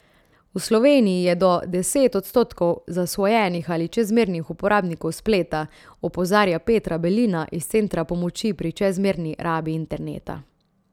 V Sloveniji je do deset odstotkov zasvojenih ali čezmernih uporabnikov spleta, opozarja Petra Belina iz Centra pomoči pri čezmerni rabi interneta.